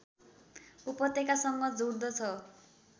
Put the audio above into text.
उपत्यकासँग जोड्दछ